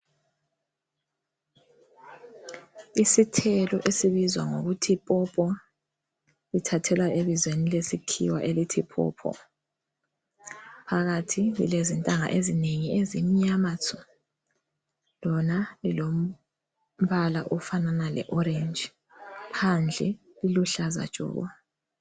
Isithelo esibizwa ngokuthi popo lithathwela ebizweni lesikhiwa elithi “paw paw”. Phakathi lilezintanga ezinengi ezimnyama tshu lona lilombala ofanana le orange phandle liluhlaza tshoko.